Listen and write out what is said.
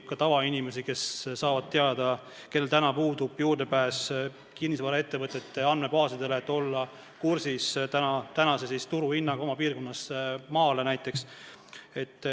Ka tavainimesed, kellel täna puudub juurdepääs kinnisvaraettevõtete andmebaasidele, saavad infot, et olla kursis turuhinnaga oma piirkonnas.